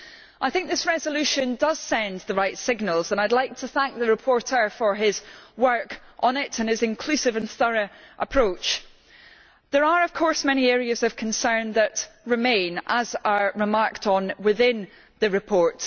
I think this resolution does send the right signals, and I would like to thank the rapporteur for his work on it and his inclusive and thorough approach. There are, of course, many areas of concern that remain, as are remarked on within the report.